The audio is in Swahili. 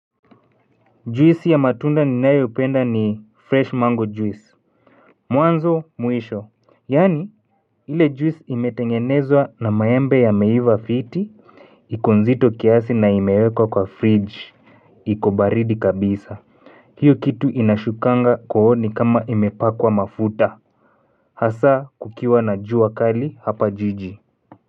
Juisi ya matunda ninayoipenda ni fresh mango juice. Mwanzo mwisho. Yaani ile juisi imetengenezwa na maembe yameiva fiti. Iko nzito kiasi na imewekwa kwa fridge. Iko baridi kabisa. Hiyo kitu inashukanga kooni kama imepakwa mafuta. Hasaa kukiwa na jua kali hapa jiji.